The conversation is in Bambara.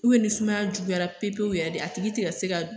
ni sumaya juguyara pe pewu yɛrɛ de a tigi ti ka se ka